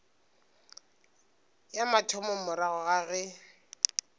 ya mathomo morago ga ge